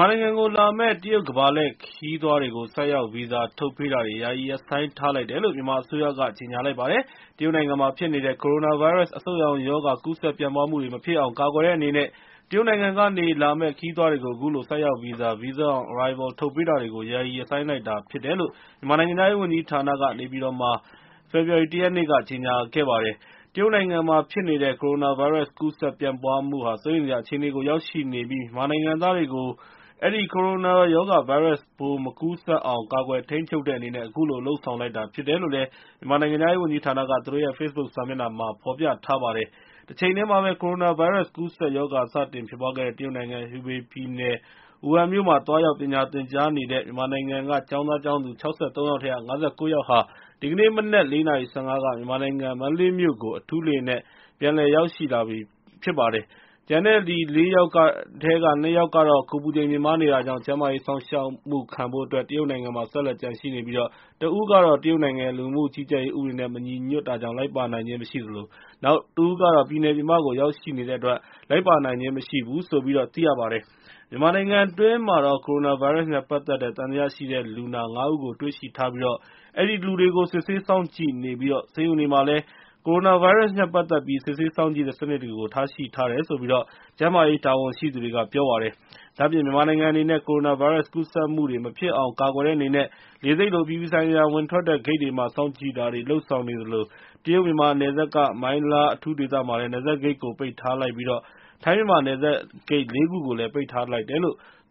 ာနိုင်ငံကိုလာမယ့် ကမ္ဘာလှည့်ခရီးသွားတွေကို ဆိုက်ရောက်ဗီဇာ ထုတ်ပေးတာတွေကို ယာယီရပ်ဆိုင်းထားလိုက်တယ်လို့ မြန်မာအစိုးရက ကြေညာလိုက်ပါတယ်။ တရုတ်နိုင်ငံမှာဖြစ်နေတဲ့ ကိုရိုနာဗိုင်းရပ်စ် အဆုတ်ရောင်ရောဂါ ကူးစက်ပြန့်ပွားမှုတွေ မဖြစ်အောင် ကာကွယ်တဲ့အနေနဲ့ တရုတ်နိုင်ငံကနေ လာမယ့် ခရီးသွားတွေကို အခုလို ဆိုက်ရောက်ဗီဇာ (Visa on Arrivals) ထုတ်ပေးတာတွေကို ယာယီရပ်ဆိုင်းလိုက်တယ်လို့ မြန်မာနိုင်ငံခြားရေး ဝန်ကြီးဌာနက နေပြည်တော်မှာ ဖေဖော်ဝါရီလ ၁ ရက်နေ့က ကြေညာလိုက်ပါတယ်။ တရုတ်နိုင်ငံမှာဖြစ်နေတဲ့ ကိုရိုနာဗိုင်းရပ်စ် ကူးစက်ပြန့်ပွားမှုဟာ စိုးရိမ်စရာ အခြေအနေကို ရောက်ရှိနေပြီး မြန်မာနိုင်ငံသားတွေကို အဲဒီ ကိုရိုနာဗိုင်းရပ်စ်ပိုး မကူးစက်အောင် ကာကွယ်ထိန်းချုပ်တဲ့အနေနဲ့ အခုလို လုပ်ဆောင်လိုက်တာ ဖြစ်တယ်လို့လည်း မြန်မာနိုင်ငံခြားရေးဝန်ကြီးဌာနက သူတို့ရဲ့ Facebook စာမျက်နှာမှာ ဖော်ပြထားပါတယ်။ တချိန်တည်းမှာပဲ ကိုရိုနာဗိုင်းရပ်စ် ကူးစက်ရောဂါ စတင်ဖြစ်ပွားခဲ့တဲ့ တရုတ်နိုင်ငံ Hubei ပြည်နယ် ဝူဟန်မြို့မှာ သွားရောက်ပညာသင်ကြားနေတဲ့ မြန်မာနိုင်ငံက ကျောင်းသားကျောင်းသူ ၆၃ ယောက်ထဲက ၅၉ ယောက်ဟာ ဒီကနေ့မနက် ၄ နာရီ ၁၅ က မြန်မာနိုင်ငံ မန္တလေးမြို့ကို အထူးလေယာဉ်နဲ့ ပြန်ရောက်ရှိလာပြီဖြစ်တယ်လို့ ပြောပါတယ်။ ကျန်တဲ့ ၄ ယောက်ထဲက ၂ ယောက်ကတော့ ကိုယ်အပူချိန် မြင့်မားနေတာကြောင့် ကျန်းမာရေးစောင့်ရှောက်မှု ခံဖို့အတွက် တရုတ်နိုင်ငံမှာ ဆက်လက်ကျန်ရှိနေပြီး တဦးကတော့ တရုတ်နိုင်ငံရဲ့ လူဝင်မှုကြီးကြပ်ရေး ဥပဒေနဲ့ မညီညွတ်တာကြောင့် လိုက်ပါနိုင်ခြင်း မရှိသလို နောက်တဦးကတော့ ပြည်နယ်ပြင်ပကို ရောက်နေတဲ့အတွက် လိုက်ပါနိုင်ခြင်း မရှိဘူးလို့ သိရပါတယ်။ မြန်မာနိုင်ငံအတွင်းမှာတော့ ကိုရိုနာဗိုင်းရပ်စ်နဲ့ ပတ်သက်ပြီး သံသယရှိတဲ့ လူနာ ၅ ဦးကို တွေ့ရှိထားပြီး အဲဒီလူတွေကို စစ်ဆေးစောင့်ကြည့်နေကာ ဆေးရုံတွေမှာလည်း ကိုရိုနာဗိုင်းရပ်စ်နဲ့ ပတ်သက်ပြီး စစ်ဆေးစောင့်ကြည့်တဲ့ စနစ်တွေ ထားရှိထားတယ်လို့ ကျန်းမာရေးတာဝန်ရှိသူတွေက ပြောပါတယ်။ ဒါ့အပြင် မြန်မာနိုင်ငံအနေနဲ့ ကိုရိုနာဗိုင်းရပ်စ် ကူးစက်မှုတွေ မဖြစ်အောင် ကာကွယ်တဲ့အနေနဲ့ လေဆိပ်လို အပြည်ပြည်ဆိုင်ရာ ဝင်ထွက်တဲ့ဂိတ်တွေမှာ စောင့်ကြည့်တာတွေ လုပ်ဆောင်နေသလို တရုတ်-မြန်မာ နယ်စပ်က မိုင်းလား အထူးဒေသမှာလည်း နယ်စပ်ဂိတ်ကို ပိတ်ထားလိုက်ပြီး ထိုင်း-မြန်မာနယ်စပ်ဂိတ် ၄ ခုကိုလည်း ပိတ်ထားလိုက်ပါတယ်။